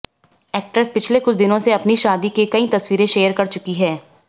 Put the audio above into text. actress पिछले कुछ दिनों से अपनी शादी की कई तस्वीरें शेयर कर चुकी हैं